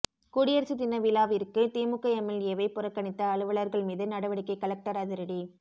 குடியரசு தின விழாவிற்கு திமுக எம்எல்ஏவை புறக்கணித்த அலுவலர்கள் மீது நடவடிக்கை கலெக்டர் அதிரடி